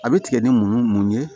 A bɛ tigɛ ni mun mun ye